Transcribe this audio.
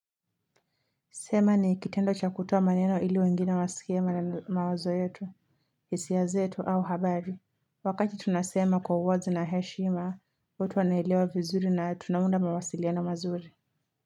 Sema ni kitendo cha kutoa maneno ili wengine wasikie mawazo yetu hisia zetu au habari Wakati tunasema kwa uwazi na heshima, mtu anaelewa vizuri na tunaunda mawasiliano mazuri.